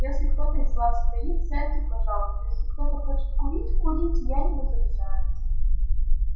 если кто-то из вас стоит сядьте пожалуйста если кто-то хочет курить курите я не возражаю